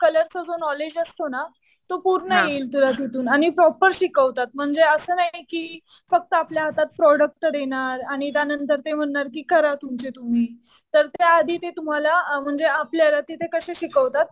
कलरचा जो नॉलेज असतो ना तो पूर्ण येईल तुला तिथून आणि प्रॉपर शिकवतात म्हणजे असं नाही कि फक्त आपल्या हातात प्रोडक्ट देणार आणि त्यानंतर ते म्हणणार कि करा तुमचे तुम्ही. तर त्या आधी ते तुम्हाला म्हणजे आपल्याला तिथे कसे शिकवतात,